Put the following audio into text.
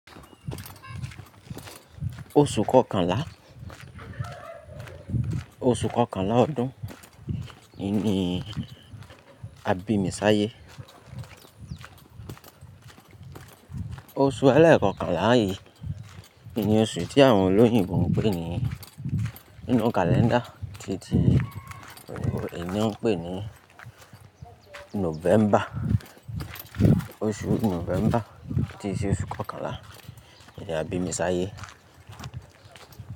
Oṣù kọkànlá, oṣù kọkànlá ọdún, ìn ní àbími ṣáyé. Oṣù ẹlẹ́ẹ̀kọkànlá yìí ni oṣù tí àwọn olóyìnbo ń pè ní nínú kalẹ́ndà tí ti ènìyàn ń pè ní November. Oṣù November tí se oṣù kọkànlá ni àbími ṣáyé.